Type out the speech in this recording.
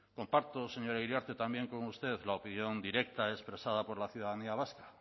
comparto señora iriarte también con usted la opinión directa expresada por la ciudadanía vasca